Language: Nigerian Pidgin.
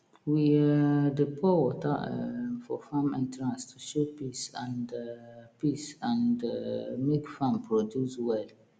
we um dey pour water um for farm entrance to show peace and um peace and um make farm produce well